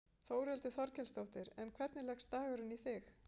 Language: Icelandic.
Þórhildur Þorkelsdóttir: En hvernig leggst dagurinn í þig?